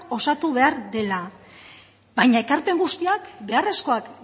osatu behar direla baina ekarpen guztiak beharrezkoa